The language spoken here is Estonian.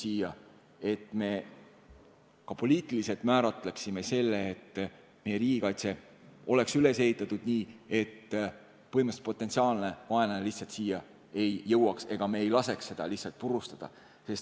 Me peaksime ka poliitiliselt kindlaks määrama, et meie riigikaitse oleks üles ehitatud nii, et potentsiaalne vaenlane lihtsalt siia ei jõuaks ja me ei laseks seda ruumi lihtsalt purustada.